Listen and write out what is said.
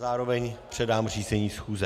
Zároveň předám řízení schůze.